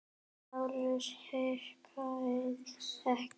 LÁRUS: Hikið ekki!